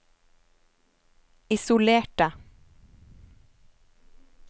isolerte